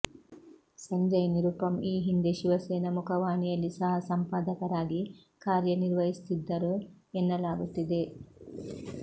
ಸಂಜಯ್ ನಿರುಪಮ್ ಈ ಹಿಂದೆ ಶಿವಸೇನಾ ಮುಖವಾಣಿಯಲ್ಲಿ ಸಹ ಸಂಪಾದಕರಾಗಿ ಕಾರ್ಯನಿರ್ವಹಿಸಿದ್ದರು ಎನ್ನಲಾಗುತ್ತಿದೆ